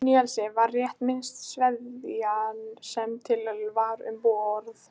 Níelsi var rétt minnsta sveðjan sem til var um borð.